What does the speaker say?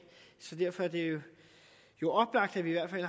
så derfor er det jo oplagt at vi i hvert fald